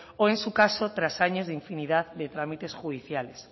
o en su caso tras años de infinidad de trámites judiciales